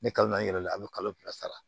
Ne kalo naani yɛrɛ la a bi kalo fila sara